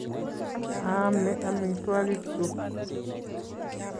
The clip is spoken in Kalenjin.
Aame amitwogikchuk